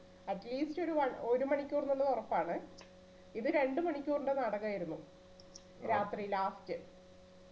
atleast ഒരു one ഒരു മണിക്കൂറിന്റെ ഉറപ്പാണ് ഇത് രണ്ടുമണിക്കൂറിന്റെ നാടകമായിരുന്നു രാത്രി last